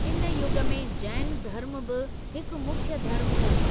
इन युग में जैन धर्मु बि हिकु मुख्य धर्मु हो।